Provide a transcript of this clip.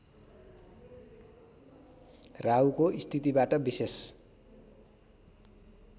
राहुको स्थितिबाट विशेष